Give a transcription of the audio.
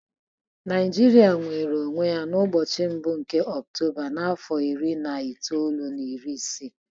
Naijiria nwere onwe ya n'ụbọchị mbụ nke ọnwa Ọktoba n'afọ iri na itoolu na iri isii.